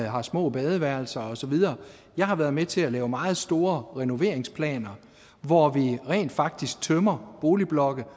har små badeværelser og så videre jeg har været med til at lave meget store renoveringsplaner hvor vi rent faktisk tømmer boligblokke